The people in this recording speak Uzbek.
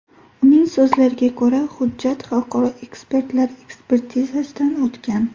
Uning so‘zlariga ko‘ra, hujjat xalqaro ekspertlar ekspertizasidan o‘tgan.